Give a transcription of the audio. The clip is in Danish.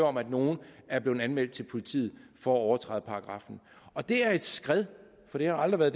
om at nogen er blevet anmeldt til politiet for at overtræde paragraffen og det er et skred for det har aldrig